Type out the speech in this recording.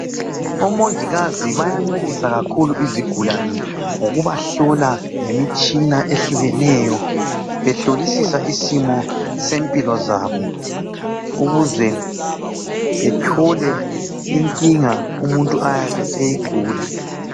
Omongikazi bayancedisa kakhulu izigulane ngokubahlola ngemitshina ehlukeneyo, behlolisisa isimo sempilo zabo ukuze bethole inkinga umuntu ayabe eyigula.